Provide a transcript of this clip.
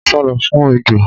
O n sálọ fún ejò